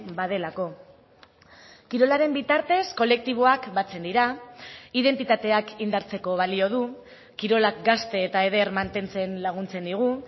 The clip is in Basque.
badelako kirolaren bitartez kolektiboak batzen dira identitateak indartzeko balio du kirolak gazte eta eder mantentzen laguntzen digu